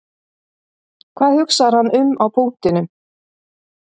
Hvað hugsar hann um á punktinum?